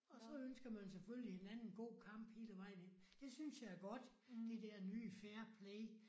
Og så ønsker man jo selvfølgelig hinanden god kamp hele vejen ind. Det synes jeg er godt. Det der fair play